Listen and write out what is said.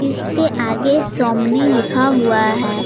के आगे सोमनी लिखा हुआ है।